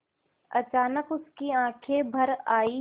अचानक उसकी आँखें भर आईं